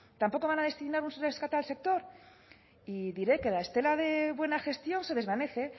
tampoco van a destinar ustedes al sector y diré que la estela de buena gestión se desvanece